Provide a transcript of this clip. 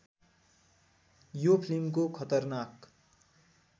यो फिल्मको खतरनाक